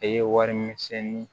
E ye wari min sɛni